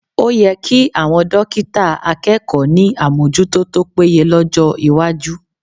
O yẹ kí àwọn dọ́kítà akẹ́kọ̀ọ́ ní àmójútó tó péye lọ́jọ́ iwájú